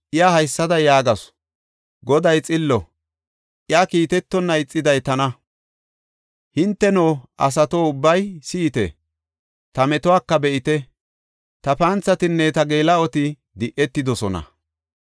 Iya haysada yaagasu; “Goday xillo; iya kiitetonna ixiday tana. Hinteno, asato ubbay si7ite; ta metuwaka be7ite; ta panthatinne ta geela7oti di7etidosona.